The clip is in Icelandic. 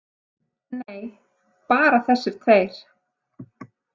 Nei, bara þessir tveir.